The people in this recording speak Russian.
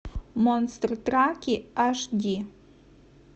монстры траки аш ди